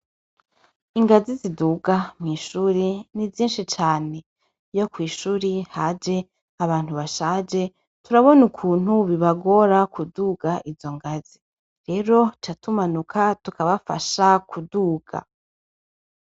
Ingazi ziduga mw'ishuri ni Sindhi cane iyo kwishuri haje abantu bashaje turabona ukuntu bibagora kuduga izo ngazi, rero duca tumanuka tukabafasha kuduga.